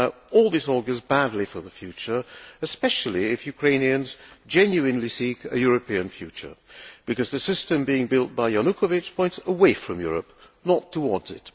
All this augurs badly for the future, especially if Ukrainians genuinely seek a European future, because the system being built by Yanukovych points away from Europe, not towards it.